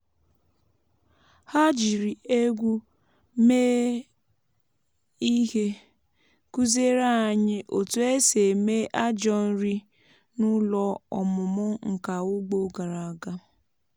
ha jiri egwú mee ihe kụziere anyị otu esi eme ajọ nri n’ụlọ ọmụmụ nka ugbo gara aga.